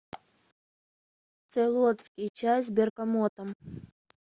цейлонский чай с бергамотом